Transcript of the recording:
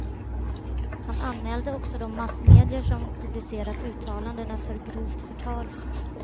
Han anmälde också de massmedier som publicerat uttalandena för grovt förtal.